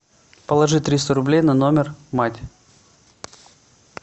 положи триста рублей на номер мать